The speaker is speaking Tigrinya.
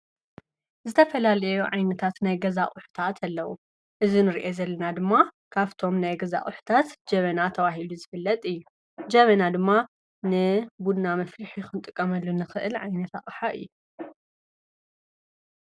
ዝተፈላል ዓይነታት ናይ ገዛ ቊሕታት ኣለዉ እዝ ንርአ ዘለና ድማ ካፍቶም ናይ ገዛ ቊሕታት ጀበና ተዋሂሉ ዝፍለጥ እዩ ጀመና ድማ ን ቡና መፊሪሒኹንጥ ቀመሉ ንኽእል ዓይነታ ኣሓ እየ።